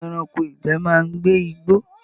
Àwọn ẹranko ìgbẹ́ máa ń gbé igbó